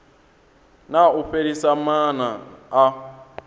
na u fhelisa maana a